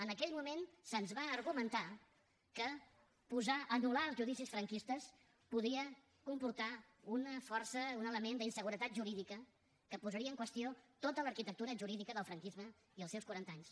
en aquell moment se’ns va argumentar que anul·lar els judicis franquistes podia comportar una força un element d’inseguretat jurídica que posaria en qüestió tota l’arquitectura jurídica del franquisme i els seus quaranta anys